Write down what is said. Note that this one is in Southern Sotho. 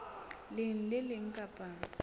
leng le le leng kapa